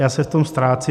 Já se v tom ztrácím.